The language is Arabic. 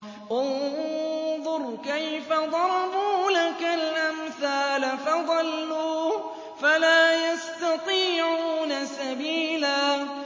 انظُرْ كَيْفَ ضَرَبُوا لَكَ الْأَمْثَالَ فَضَلُّوا فَلَا يَسْتَطِيعُونَ سَبِيلًا